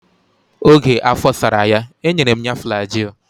Oge afọ sara ya, e nyere m ya flajil.